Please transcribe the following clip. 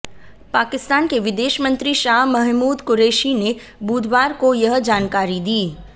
पाकिस्तान के विदेश मंत्री शाह महमूद कुरैशी ने बुधवार को यह जानकारी दी